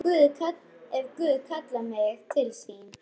Ef Guð kallar mig til sín.